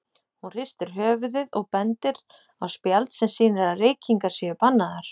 Hún hristir höfuðið og bendir á spjald sem sýnir að reykingar séu bannaðar.